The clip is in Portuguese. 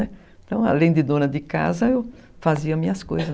Então, além de dona de casa, eu fazia minhas coisas.